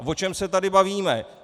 Tak o čem se tady bavíme?